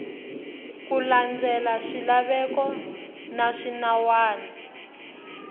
ku landza swilaveko na swinawana